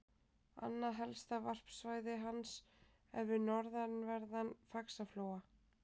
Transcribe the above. Annað helsta varpsvæði hans er við norðanverðan Faxaflóa.